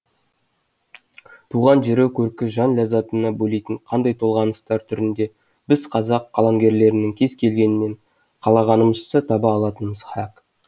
туған жер көркі жан ләззатына бөлейтін қандай толғаныстар түрін де біз қазақ қаламгерлерінің кез келгенінен қалағанымызша таба алатынымыз хақ